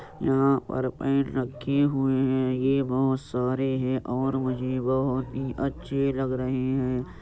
यहाँ पर पेन रखी हुए हैं। ये बहोत सारे हैं और ये मुझे बहोत ही अच्छे लग रहे हैं।